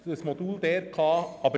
Das gilt auch hier: